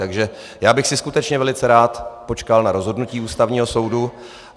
Takže já bych si skutečně velice rád počkal na rozhodnutí Ústavního soudu.